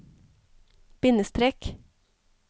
bindestrek